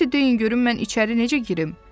"Elə isə deyin görüm, mən içəri necə girim?"